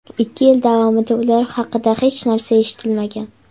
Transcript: Ikki yil davomida ular haqida hech narsa eshitmagan.